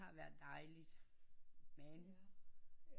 Der har været dejligt men